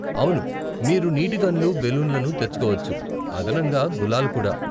అవును, మీరు నీటి గన్లు, బెలూన్లను తెచ్చుకోవచ్చు, అదనంగా గులాల్ కూడా.